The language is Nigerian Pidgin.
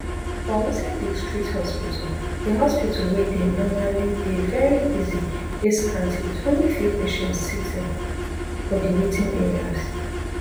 for wuse district hospital di hospital wey dey normally dey veri busy dey scanty wit only few patients sitting for di waiting areas